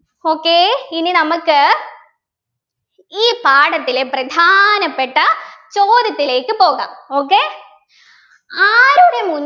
okay ഇനി നമുക്ക് ഈ പാഠത്തിലെ പ്രധാനപ്പെട്ട ചോദ്യത്തിലേക്ക് പോകാം okay ആരുടെ